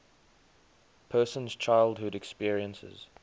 person's childhood experiences